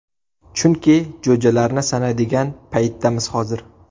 Chunki jo‘jalarni sanaydigan paytdamiz hozir.